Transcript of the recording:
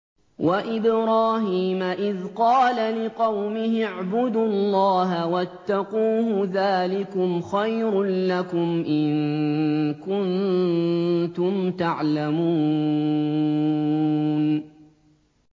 وَإِبْرَاهِيمَ إِذْ قَالَ لِقَوْمِهِ اعْبُدُوا اللَّهَ وَاتَّقُوهُ ۖ ذَٰلِكُمْ خَيْرٌ لَّكُمْ إِن كُنتُمْ تَعْلَمُونَ